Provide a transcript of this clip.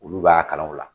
Olu b'a kalan o la